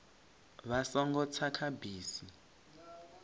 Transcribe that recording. vha songo tsa kha bisi